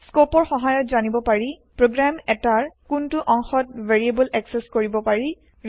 স্কৌপৰ সহায়ত জানিব পাৰি প্ৰগ্ৰেম এটাৰ কোনটো অংশত ভেৰিয়েব্ল একচেস কৰিব পাৰি